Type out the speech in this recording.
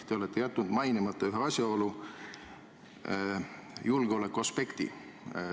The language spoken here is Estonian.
Te olete jätnud mainimata ühe asjaolu: julgeolekuaspekti.